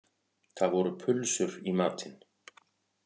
Það voru pulsur í matinn